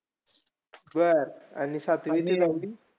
बरं! आणि सातवी ते नववी?